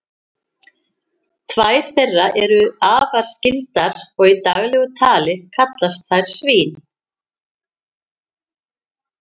tvær þeirra eru afar skyldar og í daglegu tali kallast þær svín